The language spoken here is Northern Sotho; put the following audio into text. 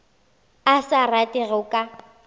a sa rate go ka